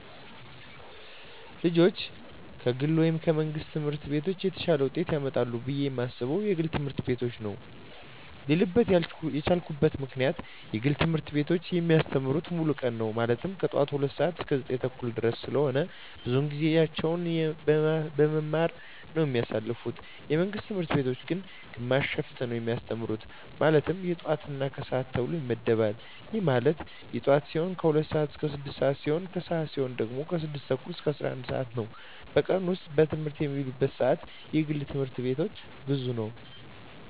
ልጆች ከግል ወይም ከመንግሥት ትምህርት ቤቶች የተሻለ ውጤት ያመጣሉ ብየ የማስበው የግል ትምህርት ቤቶችን ነው ብየ አስባለው ልልበት የቻልኩት ምክንያት የግል ትምህርት ቤቶች የሚያስተምሩት ሙሉ ቀን ነው ማለትም ከጠዋቱ 2:00 ሰዓት እስከ 9:30 ድረስ ስለሆነ ብዙውን ጊዜያቸውን በመማማር ነው የሚያሳልፉት የመንግስት ትምህርት ቤቶች ግን ግማሽ ሽፍት ነው የሚያስተምሩ ማለትም የጠዋት እና የከሰዓት ተብሎ ይመደባል ይህም ማለት የጠዋት ሲሆኑ 2:00 ስዓት እስከ 6:00 ሲሆን የከሰዓት ሲሆኑ ደግሞ 6:30 እስከ 11:00 ነው በቀን ውስጥ በትምህርት የሚውሉበት ሰዓት የግል ትምህርት ቤቶች ብዙ ነው።